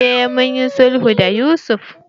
Eh mun yi sulhu da Yusuf.